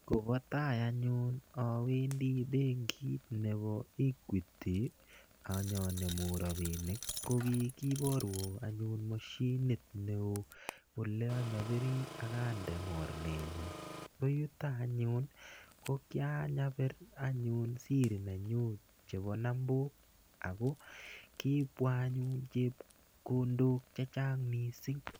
Kopa tai anyun awendi benkit nepo Equity anyanemu rapinik ko kikiparwa anyun mashinit ne oo ole anyapiri ak ande morenenyu. Ko yuto anyun ko kianyapir anyun siri nenyu chepo nambok ako kipwa anyun chepkondok che chang' missing'.